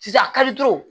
Sisan a ka diw